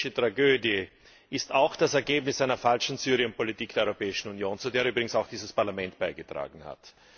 Die syrische Tragödie ist auch das Ergebnis einer falschen Syrienpolitik der Europäischen Union, zu der übrigens auch dieses Parlament beigetragen hat.